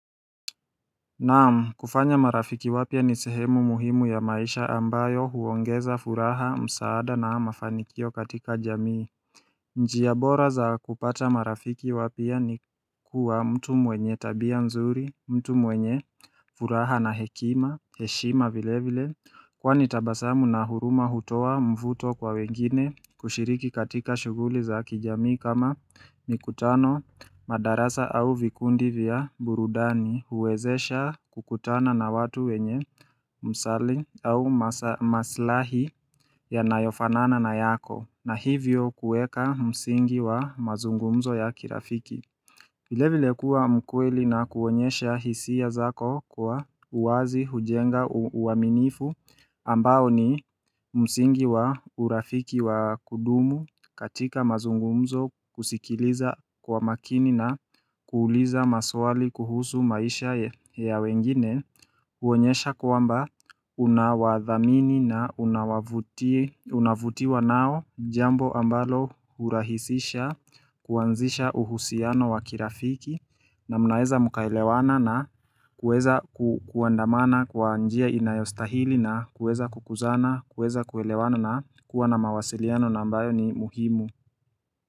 Naam, kufanya marafiki wapia ni sehemu muhimu ya maisha ambayo huongeza furaha, msaada na mafanikio katika jamii Njiya bora za kupata marafiki wapia ni kuwa mtu mwenye tabia mzuri, mtu mwenye furaha na hekima, heshima vile vile Kwani tabasamu na huruma hutowa mvuto kwa wengine kushiriki katika shuguli za kijamii kama nikutano madarasa au vikundi vya burudani huwezesha kukutana na watu wenye msali au maslahi yanayofanana na yako na hivyo kueka msingi wa mazungumzo ya kirafiki vile vile kuwa mkweli na kuonyesha hisia zako kwa uwazi, hujenga, uaminifu ambao ni msingi wa urafiki wa kudumu katika mazungumzo kusikiliza kwa makini na kuuliza maswali kuhusu maisha ya wengine huonyesha kuamba unawadhamini na unavutiwa nao jambo ambalo hurahisisha kuanzisha uhusiano wakirafiki na munaeza mukaelewana na kuweza kuandamana kwa njia inayostahili na kuweza kukuzana, kuweza kuelewana na kuwa na mawasiliano nambayo ni muhimu.